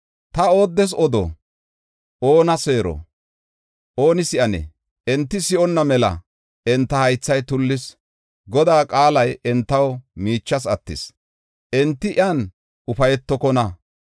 “Ta ooddes odo? Oona seero? Ooni si7anee? Enti si7onna mela enta haythay tullis. Godaa qaalay entaw miichas attis; enti iyan ufaytokona.